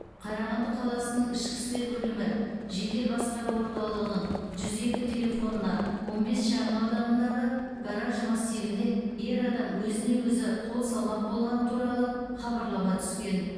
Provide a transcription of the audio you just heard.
қарағанды қаласының ішкі істер бөлімі жедел басқару орталығының жүз екі телефонына он бес шағынауданындағы гараж массивінде ер адам өзіне өзі қол салмақ болғаны туралы хабарлама түскен